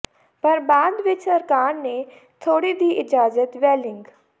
ਪਰ ਬਾਅਦ ਵਿਚ ਸਰਕਾਰ ਨੇ ਥੋੜੀ ਦੀ ਇਜਾਜ਼ਤ ਵ੍ਹੇਲਿੰਗ